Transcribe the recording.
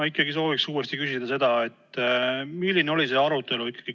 Ma ikkagi sooviks uuesti küsida, milline oli komisjoni arutelu.